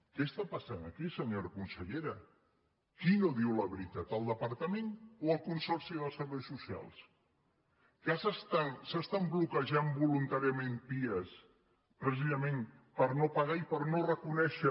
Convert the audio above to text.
què està passant aquí senyora consellera qui no diu la veritat el departament o el consorci de serveis so·cials que s’estan bloquejant voluntàriament pia pre·cisament per no pagar i per no reconèixer